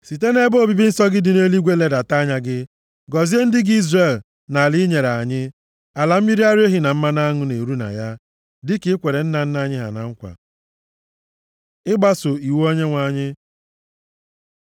Site nʼebe obibi nsọ gị dị nʼeluigwe ledata anya gị, gọzie ndị gị Izrel na ala a i nyere anyị, ala mmiri ara ehi na mmanụ aṅụ na-eru na ya, dịka i kwere nna nna anyị ha na nkwa.” Ịgbaso iwu Onyenwe anyị